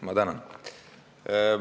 Ma tänan!